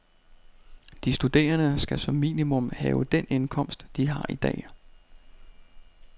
De studerende skal som minimum have den indkomst, de har i dag.